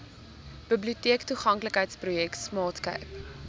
biblioteektoeganklikheidsprojek smart cape